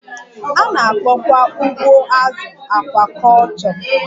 A na-akpọkwa ugbo azụ akwakọlchọ